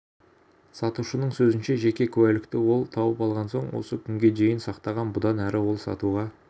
сатушының сөзінше жеке куәлікті ол тауып алған соң осы күнге дейін сақтаған бұдан әрі ол сатуға